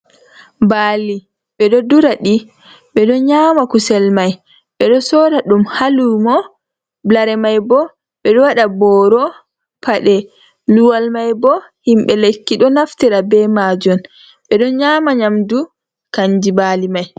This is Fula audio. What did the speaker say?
Baali ɓeɗo ɗura di. Be do nyama kusel mai. ɓe ɗo sora ɗum ha lumo. Lare mai bo ɓeɗo wadlda boro, paɗe. Luwal mai bo himbe lekki ɗo naftira be majun. Be ɗo nyama nyamɗu kanji bali mai.